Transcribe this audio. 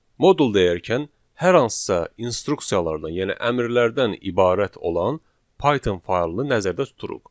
Modul deyərkən hər hansısa instruksiyalardan, yəni əmrlərdən ibarət olan Python faylını nəzərdə tuturuq.